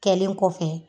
Kɛlen kɔfɛ